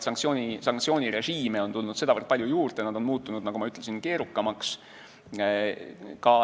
Sanktsioonirežiime on tulnud sedavõrd palju juurde ja nad on muutunud, nagu ma ütlesin, keerukamaks.